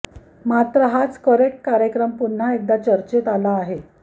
मात्र हाच करेक्ट कार्यक्रम पुन्हा एकदा चर्चेत आला आहे